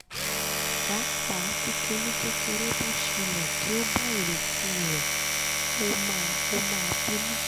pápá ti kìnní kékeré bá ṣẹlẹ to ba ìrètí rẹ o ma o ma binu